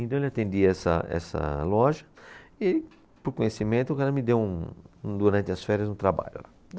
Então, ele atendia essa, essa loja e, por conhecimento, o cara me deu um, durante as férias, um trabalho lá.